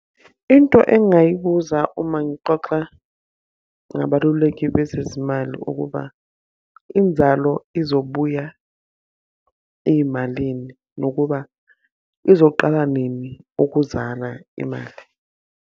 Into engingayibuza uma ngixoxa ngabaluleki bezezimali ukuba inzalo izobuya ey'malini, nokuba izoqala nini ukuzala imali?